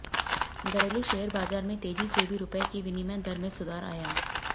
घरेलू शेयर बाजार में तेजी से भी रूपये की विनिमय दर में सुधार आया